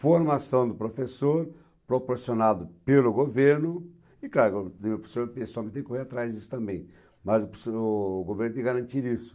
Formação do professor, proporcionado pelo governo, e claro, o professor pessoal tem que correr atrás disso também, mas o professor, o governo tem que garantir isso.